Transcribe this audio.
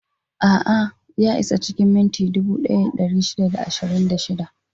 A'a, ya isa cikin minti dubu ɗaya da ɗari shida da ashirin da shida.